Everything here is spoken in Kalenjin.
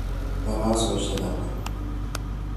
Tarasosyek ata?